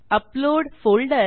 upload folder